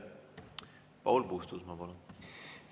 Paul Puustusmaa, palun!